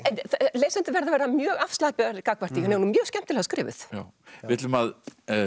lesendur verða að vera mjög afslappaðir gagnvart því hún er mjög skemmtilega skrifuð við ætlum að